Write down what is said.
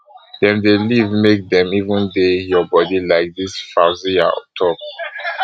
dem dey live make dem even dey your bodi like dis fauzziyah tok